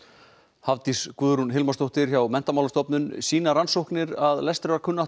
Hafdís Guðrún Hilmarsdóttir læsisráðgjafi hjá Menntamálastofnun sýna rannsóknir að lestrarkunnátta